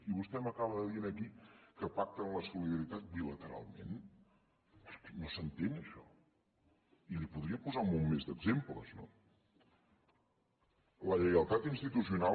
i vostè m’acaba de dir aquí que pacten la solidaritat bilateralment és que no s’entén això i li podria posar un munt més d’exemples no la lleialtat institucional